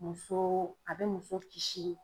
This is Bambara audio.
Muso a bɛ muso kisi